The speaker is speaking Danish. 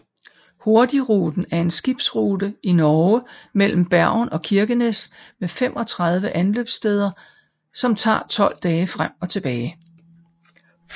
Hurtigruten er en skibsrute i Norge mellem Bergen og Kirkenes med 35 anløbssteder som tager 12 dage frem og tilbage